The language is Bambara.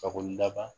Fakoli daban